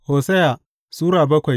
Hosiya Sura bakwai